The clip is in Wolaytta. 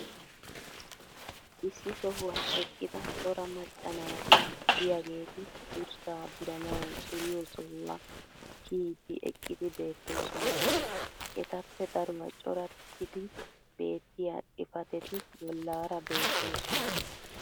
issi sohuwan eqqida cora macca naati diyaageeti durssaa duranawu duriyo sohuwa kiyidi eqqidi beettoosona. etappe daruwaa corattidi beetiya xifatetti bolaara beettoosona.